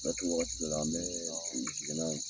Fɛti wagati dɔw la an bɛ sigi sigi na ye